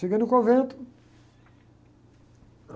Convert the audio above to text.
Cheguei no convento.